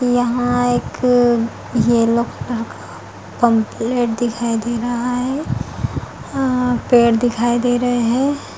यहाँ एक yellow colour का पेम्फलेट दिखाई दे रहा है अ पेड़ दिखाई दे रहे है।